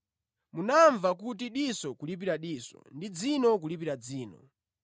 “Munamva kuti, ‘Diso kulipira diso ndi dzino kulipira dzino.’